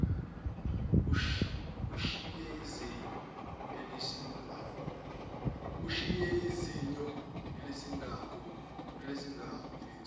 ushiye izinyo eliyisigamu